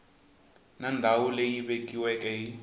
na ndhawu leyi vekiweke hi